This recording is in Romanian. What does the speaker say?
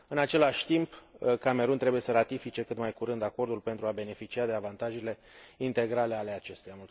În același timp, Camerun trebuie să ratifice cât mai curând acordul pentru a beneficia de avantajele integrale ale acestuia.